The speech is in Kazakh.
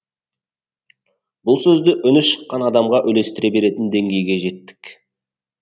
бұл сөзді үні шыққан адамға үлестіре беретін деңгейге жеттік